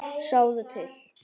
Sjáðu til.